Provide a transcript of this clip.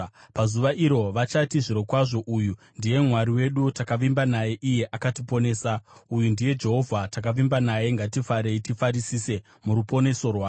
Pazuva iro vachati, “Zvirokwazvo uyu ndiye Mwari wedu; takavimba naye, iye akatiponesa. Uyu ndiye Jehovha, takavimba naye; ngatifarei tifarisise muruponeso rwake.”